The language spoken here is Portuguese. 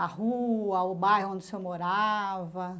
a rua, o bairro onde o senhor morava?